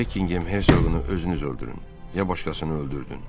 Bekingem hersoqunu özünüz öldürün ya başqasını öldürdün.